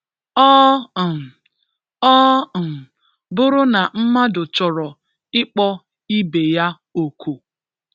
Ọ um Ọ um bụrụ na mmadụ chọrọ ịkpọ ibe ya òkù